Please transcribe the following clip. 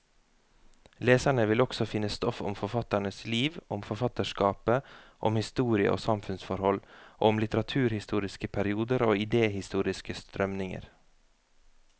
Leserne vil også finne stoff om forfatternes liv, om forfatterskapet, om historie og samfunnsforhold, og om litteraturhistoriske perioder og idehistoriske strømninger.